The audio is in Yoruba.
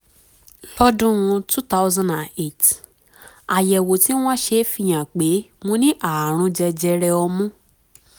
lọ́dún two thousand and eight àyẹ̀wò tí wọ́n ṣe fi hàn pé mo ní ààrùn jẹjẹrẹ ọmú